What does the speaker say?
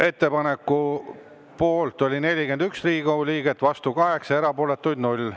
Ettepaneku poolt oli 41 Riigikogu liiget, vastu 8, erapooletuid 0.